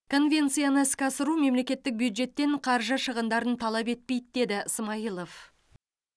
конвенцияны іске асыру мемлекеттік бюджеттен қаржы шығындарын талап етпейді деді смайылов